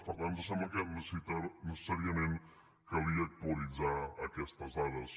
per tant ens semblava que necessàriament calia actualitzar aquestes dades